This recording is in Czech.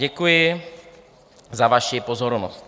Děkuji za vaši pozornost.